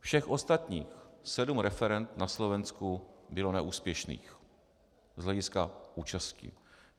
Všech ostatních sedm referend na Slovensku bylo neúspěšných z hlediska účasti.